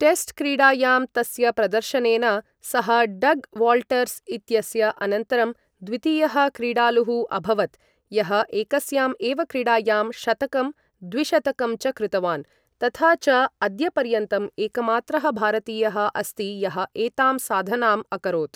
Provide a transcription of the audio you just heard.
Test क्रीडायां तस्य प्रदर्शनेन सः डग् वाल्टर्स् इत्यस्य अनन्तरं द्वितीयः क्रीडालुः अभवत्, यः एकस्यां एव क्रीडायां शतकं द्विशतकं च कृतवान्, तथा च अद्यपर्यन्तं एकमात्रः भारतीयः अस्ति यः एतां साधनाम् अकरोत्।